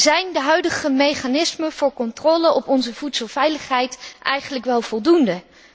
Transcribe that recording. Zijn de huidige mechanismen voor controle op onze voedselveiligheid eigenlijk wel voldoende?